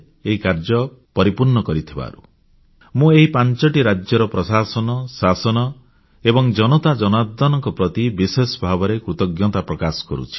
ଏହି କାର୍ଯ୍ୟ ପରିପୂର୍ଣ୍ଣ କରିଥିବାରୁ ମୁଁ ଏହି ପାଂଚଟି ରାଜ୍ୟର ପ୍ରଶାସନ ଶାସନ ଏବଂ ଜନତାଜନାର୍ଦ୍ଦନଙ୍କ ପ୍ରତି ବିଶେଷ ଭାବରେ କୃତଜ୍ଞତା ପ୍ରକାଶ କରୁଛି